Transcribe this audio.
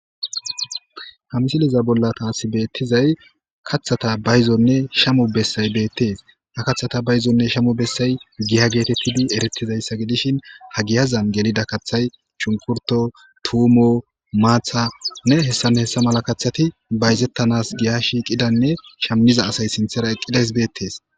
ha misiliza bolla taasi beettizay kaththata bayzonne shamu bessay beettees ha kathata bayzonne shamu bessay giya geete piddu eretizayssa gidishin ha giyazan gelida kathay chunkurto tuumo maathanne hessanne hessa mala kathati bayzettanas giya shiiqidanne shammiza asay sinthera eqqidays beettees